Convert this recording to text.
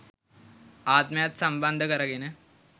ආත්මයත් සම්බන්ධ කරගෙන